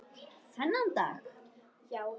Þennan dag.